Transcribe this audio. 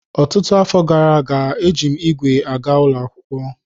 Ọtụtụ afọ gara aga, eji m ígwè aga ụlọ akwụkwọ.